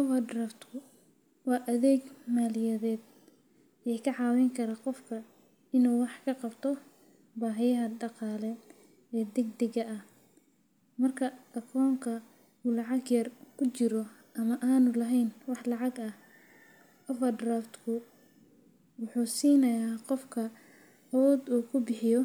Overdraft-ku waa adeeg maaliyadeed oo ka caawin kara qofka inuu wax ka qabto baahiyaha dhaqaale ee degdegga ah. Marka akoonka uu lacag yar ku jiro ama aanu lahayn wax lacag ah, overdraft-ku wuxuu siinayaa qofka awood uu ku bixiyo